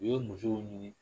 U ye musow ɲini